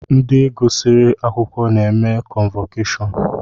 Ndi gụsiri akwụkwọ na-eme kọnvọkashọnụ